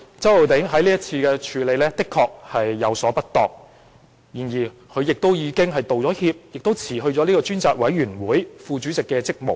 周浩鼎議員在這事件上確有處理不當之處，但他已就此道歉並辭去專責委員會副主席的職務。